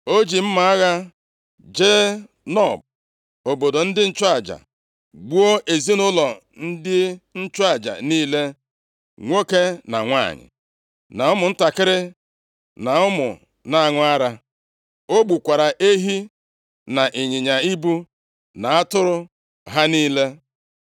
O ji mma agha jee Nob, obodo ndị nchụaja, gbuo ezinaụlọ ndị nchụaja niile, nwoke na nwanyị, na ụmụntakịrị, na ụmụ na-aṅụ ara. O gbukwara ehi na ịnyịnya ibu na atụrụ ha niile.